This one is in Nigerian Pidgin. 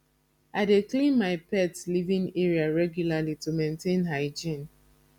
i dey clean my pet living area regularly to maintain hygiene